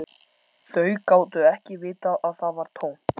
Þau gátu ekki vitað að það var tómt.